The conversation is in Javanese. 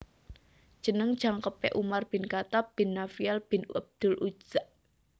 Jeneng jangkepé Umar Bin Khatab Bin Nafiel bin abdul Uzza